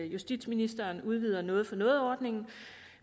justitsministeren udvider noget for noget ordningen